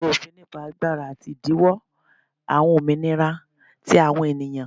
ologun, ofin nipa agbara ati idinwo awọn ominira ti awọn eniyan.